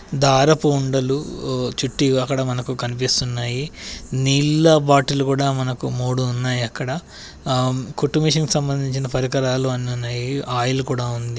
దారపు ఉండలు ఆహ్ చుట్టి అక్కడ మనకు కనిపిస్తున్నాయి. నీళ్ళ బాటిళ్లు కూడా మనకు మూడు ఉన్నాయి అక్కడ. ఆమ్ కుట్టు మెషిన్ కి సంబంధించిన పరికరాలు అన్ని ఉన్నాయి. ఆయిల్ కూడా ఉంది.